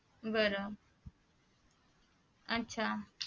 बर आच्छा